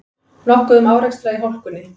Nokkuð um árekstra í hálkunni